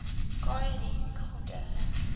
kha ri gude